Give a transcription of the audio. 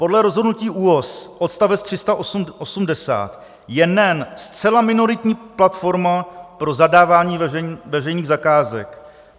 Podle rozhodnutí ÚOHS, odstavec 380, je NEN zcela minoritní platforma pro zadávání veřejných zakázek.